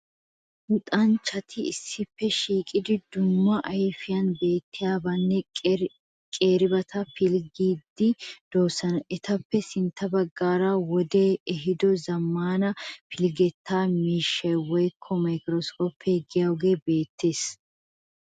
Luxanchchati issippe shiiqidi dumma ayfiyan beettenna qeeribata pilggiyageeti de'oosona. Etappe sintta baggaara wodee ehiido zammaana pilggettaa miishshay woyikko microscope giyogee beettees.